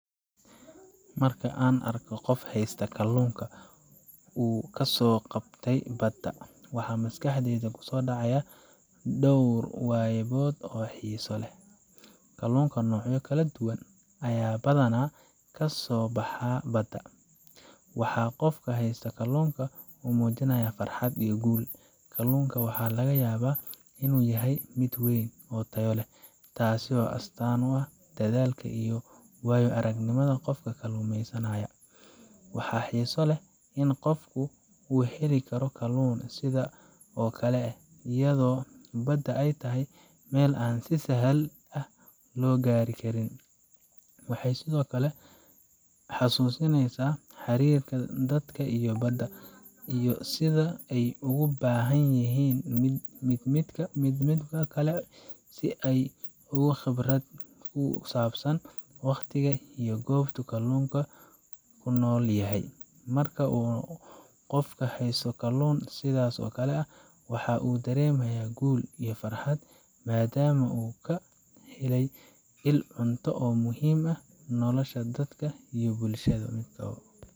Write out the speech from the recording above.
Marka aan arko qof haysta kalluunka uu ka soo qabtay badda, waxaa maskaxdayda ku soo dhaca dhowr wayaabood oo xiiso leh. Kalluunka noocyo kala duwan ayaa badanaa ka soo baxa badda, waxaana qofka haysta kalluunka uu muujinayaa farxad iyo guul. Kalluunka waxa laga yaabaa inuu yahay mid weyn oo tayo leh, taasoo astaan u ah dadaalka iyo waayo aragnimada qofka kalluumeysanaya. Waxaa xiiso leh in qofka uu heli karo kalluun sidaas oo kale ah, iyadoo badda ay tahay meel aan si sahal ah loo gaari karin. Waxay sidoo kale xusuusinaysaa xiriirka dadka iyo badda, iyo sida ay ugu baahan yihiin midba midka kale si ay u helaan nolol. Qofka haysta kalluunka wuxuu sidoo kale muujinayaa xiriir dhow oo ay la leeyihiin dabiiciga iyo khibrad ku saabsan waqtiga iyo goobta uu kalluunka ku nool yahay. Marka uu qofka haysto kalluun sidaas oo kale ah, waxa uu dareemayaa guul iyo farxad, maadaama uu ka helay il cunto oo muhiim u ah nolosha dadka iyo bulshada.